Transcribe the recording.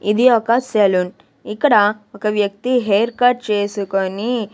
ఇది ఒక సెలూన్ ఇక్కడ ఒక వ్యక్తి హెయిర్ కట్ చేసుకొని.